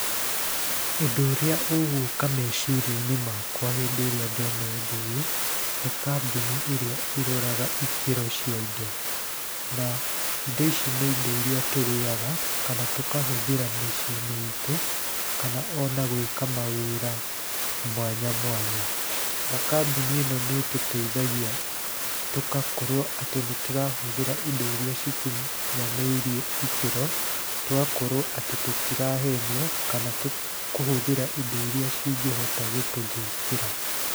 Ũndũ ũrĩa ũgũka meciria-inĩ makwa hĩndĩ ĩrĩa ndona ũndũ ũyũ, nĩ kambuni ĩrĩa ĩroraga ikĩro cia indo. Na indo ici nĩ indo irĩa tũrĩaga, kana tũkahũthĩra mĩciĩ-inĩ itũ, kana ona gwĩka mawĩra mwanya mwanya. Na kambuni ĩno nĩ ĩtũteithagia tũkakorwo atĩ nĩ tũrahũthĩra indo irĩa cikinyanĩirie ikĩro, tũgakorwo atĩ tũtirahenio, kana kũhũthĩra indo irĩa cingĩhota gũtũthũkĩra.